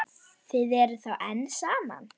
Þið eruð þá enn saman?